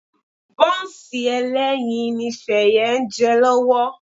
Bọ́ǹsì ẹlẹ́yin ni Ṣẹ̀yẹ ń jẹ lọ́wọ́